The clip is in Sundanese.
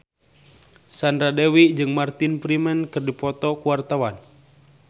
Sandra Dewi jeung Martin Freeman keur dipoto ku wartawan